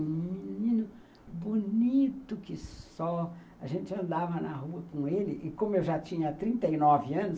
Um menino bonito que só... A gente andava na rua com ele, e como eu já tinha trinte e nove anos